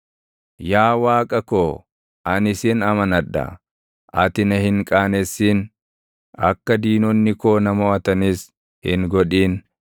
Yaa Waaqa koo ani sin amanadha. Ati na hin qaanessin; akka diinonni koo na moʼatanis hin godhin.